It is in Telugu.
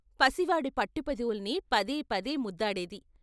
పసివాడి పట్టు పెదవుల్ని పదే పదే ముద్దాడేది.